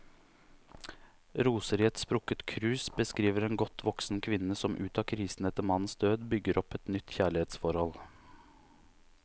Roser i et sprukket krus beskriver en godt voksen kvinne som ut av krisen etter mannens død, bygger opp et nytt kjærlighetsforhold.